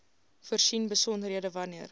voorsien besonderhede wanneer